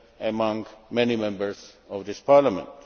among many Members of this Parliament.